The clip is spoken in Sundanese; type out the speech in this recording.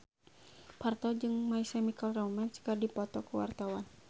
Parto jeung My Chemical Romance keur dipoto ku wartawan